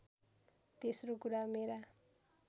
तेस्रो कुरा मेरा